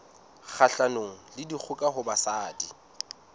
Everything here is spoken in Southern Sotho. kgahlanong le dikgoka ho basadi